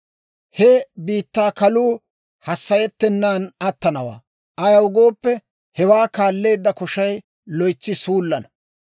He biittaa kaluu hassayettenan attanawaa; ayaw gooppe, hewaa kaalleedda koshay loytsi suullana.